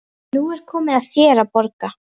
Og nú er komið að þér að borga.